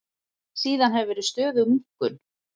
Síðan hefur verið stöðug minnkun